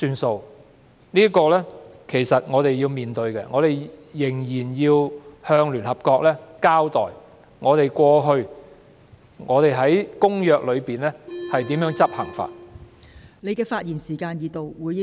這是我們要面對的問題，我們仍要向聯合國交代香港過去如何執行《公約》的條文。